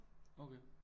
Okay